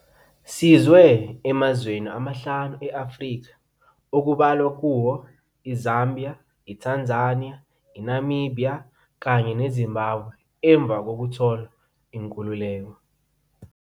Sizwe emazweni amahlanu e-Afrika, okubalwa kuwo iZambia, iTanzania, iNamibhiya kanye neZimbabwe emva kokuthola inkululeko.